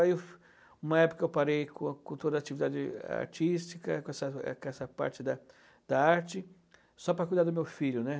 Aí uma época eu parei com com toda a atividade artística, com essa com essa parte da da arte, só para cuidar do meu filho, né?